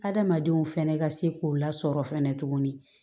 Adamadenw fɛnɛ ka se k'o lasɔrɔ fɛnɛ tuguni